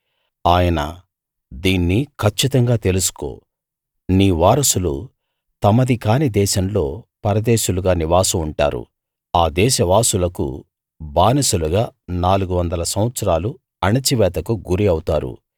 ఆయన దీన్ని కచ్చితంగా తెలుసుకో నీ వారసులు తమది కాని దేశంలో పరదేశులుగా నివాసం ఉంటారు ఆ దేశవాసులకు బానిసలుగా నాలుగు వందల సంవత్సరాలు అణచివేతకు గురి అవుతారు